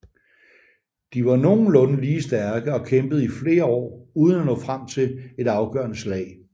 De var nogenlunde lige stærke og kæmpede i flere år uden at nå frem til et afgørende slag